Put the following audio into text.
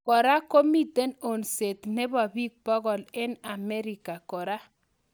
Kora komite onseet nebo pik pokol eng Amerika kora